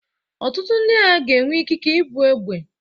Ọtụtụ ndị agha ga-enwe ikike ibu egbe.